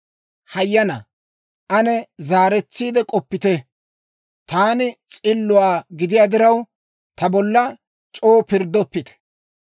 Hayyanaa, ane zaaretsiide k'oppite; taani s'illuwaa gidiyaa diraw, ta bolla c'oo pirddoppite.